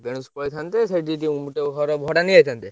ବେଣୁଶ ପଳେଇଥାନ୍ତେ ସେଠି ଟିକେ ଗୋଟେ ଘର ଭଡା ନେଇଯାଇଥାନ୍ତେ।